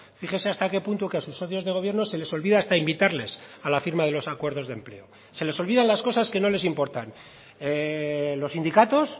fíjese hasta qué punto que a sus socios de gobierno se les olvida hasta invitarles a la firma de los acuerdos de empleo se les olvidan las cosas que no les importan los sindicatos